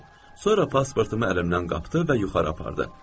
Sonra pasportumu əlimdən qapdı və yuxarı apardı.